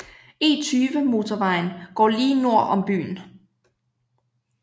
E20 motorvejen går lige nord om byen